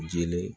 Jeli